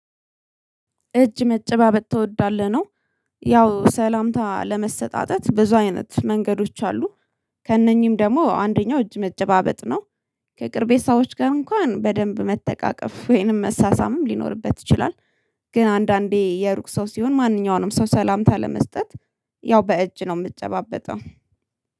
እጅ መጨባበጥ ትወዳለህ? ነው ያው ሰላምታ ለመሰጣጠት ብዙ አይነት መንገዶች አሉ። ከእነኚህም ደግሞ አንደኛው እጅ መጨባበጥ ነው። ከቅርቤ ሰዎች ጋር እንኳን በደንብ መተቃቀፍ ወይንም መሳሳምም ሊኖርበት ይችላል። ግን አንዳንዴ የሩቅ ሰው ሲሆን ማንኛውንም ሰው ሰላምታ ለመስጠት ያው በእጅ ነው የምጨባበጠው